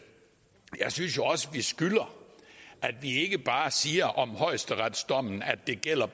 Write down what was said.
skylder ikke bare at sige om højesteretsdommen at det gælder